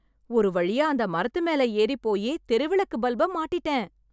ஒருவழியா அந்த மரத்து மேல ஏறி போயி தெருவிளக்கு பல்பை மாட்டிட்டேன்